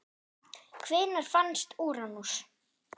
Hvenær fannst Úranus?